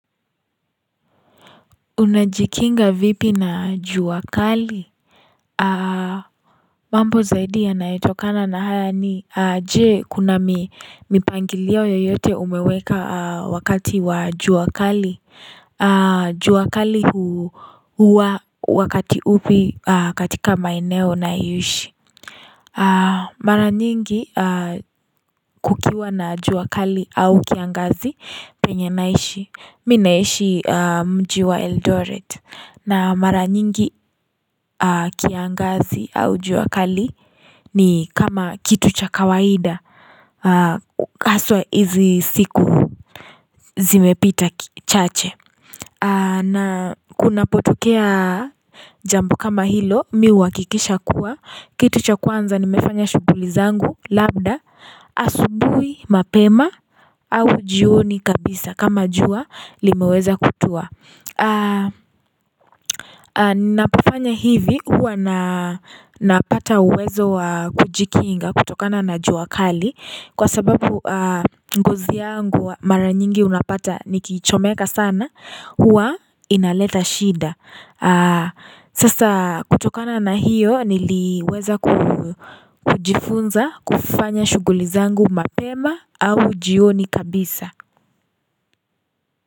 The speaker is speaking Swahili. Unajikinga vipi na jua kali? Mambo zaidi ya nayitokana na hana ni je kuna mipangilio yoyote umeweka wakati wa jua kali? Jua kali huwa wakati upi katika maineo na ishi Mara nyingi kukiwa na jua kali au kiangazi penye naishi Minaishi mjiwa Eldorate na mara nyingi kiangazi au jua kali ni kama kitu cha kawaida Haswa hizi siku zimepita chache na kuna potokea jambu kama hilo miwa kikisha kuwa Kitu cha kwanza nimefanya shughuli zangu lambda Asubuhi mapema au jioni kabisa kama jua limeweza kutua Ninapufanya hivi huwa napata uwezo kujikinga kutokana na jua kali kwa sababu ngozi yangu mara nyingi unapata nikichomeka sana huwa inaleta shida Sasa kutokana na hiyo niliweza kujifunza kufanya shughuuli zangu mapema au jioni kabisa.